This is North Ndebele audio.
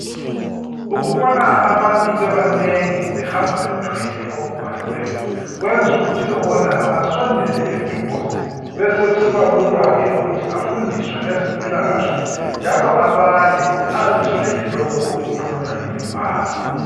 Ukubona abantu bebanengi behamba bethwele okubhaliweyo kwenza ukuthi lobonayo asondele eduze besokusibalula ke ukuthi afundiswe ngezempilakahle njalo abale azizwele lokhu okukhulunywa yimibhalo